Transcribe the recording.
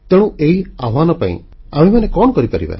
ତେଣୁ ଏହି ଆହ୍ୱାନ ପାଇଁ ଆମ୍ଭେମାନେ କଣ କରିପାରିବା